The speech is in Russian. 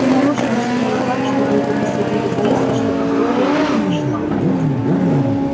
ты нарочно устроил так чтобы его посадили здесь и чтобы глория его нашла